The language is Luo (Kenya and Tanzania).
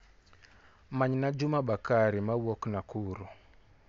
Manyna Juma Bakari mawuok Nakuru.